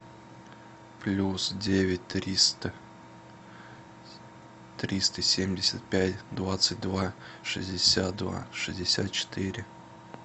плюс девять триста триста семьдесят пять двадцать два шестьдесят два шестьдесят четыре